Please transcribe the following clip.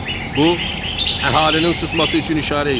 Bu əhalinin susması üçün işarə idi.